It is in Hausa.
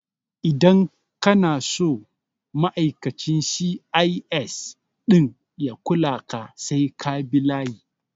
Idan kana so ma'aikacin C.I.S ɗin ya kula ka sai ka bi layi